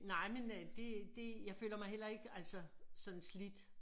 Nej men øh det det jeg føler mig heller ikke altså sådan slidt